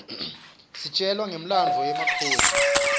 sitjelwa nqifmlanduo wemakhodi